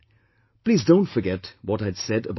Please don't forget what I had said about water